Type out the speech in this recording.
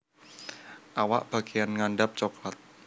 Awak bageyan ngandhap coklat